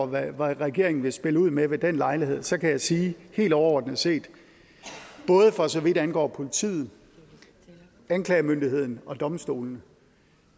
hvad regeringen vil spille ud med ved den lejlighed så kan jeg sige helt overordnet set både for så vidt angår politiet anklagemyndigheden og domstolene